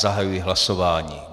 Zahajuji hlasování.